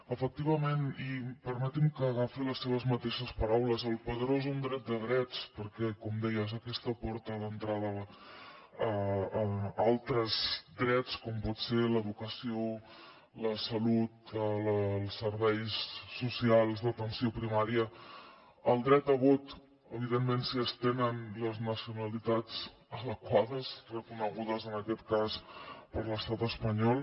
efectivament i permeti’m que agafi les seves mateixes paraules el padró és un dret de drets perquè com deia és aquesta porta d’entrada a altres drets com poden ser l’educació la salut els serveis socials d’atenció primària el dret a vot evidentment si es tenen les nacionalitats adequades reconegudes en aquest cas per l’estat espanyol